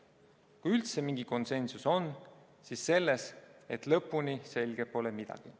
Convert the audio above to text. Kui üldse mingi konsensus on, siis selles, et lõpuni selge pole midagi.